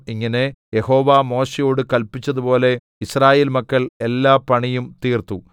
ഇങ്ങനെ യഹോവ മോശെയോട് കല്പിച്ചതുപോലെ യിസ്രായേൽ മക്കൾ എല്ലാപണിയും തീർത്തു